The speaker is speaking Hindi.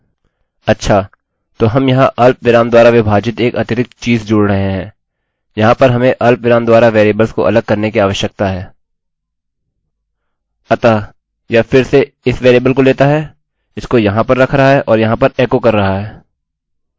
अच्छा तो हम यहाँ अर्धविराम द्वारा विभाजित एक अतिरिक्त चीज़ जोड़ रहे हैं यहाँ पर हमें अर्धविराम द्वारा वेरिएबल्स को अलग करने की आवश्यकता है अतः यह फिर से इस वेरिएबल को लेता है इसको यहाँ पर रख रहा है और यहाँ पर एकोecho कर रहा है इस वेरिएबल को लेते है इसको लाते है और यहाँ पर इसको एकोecho करता है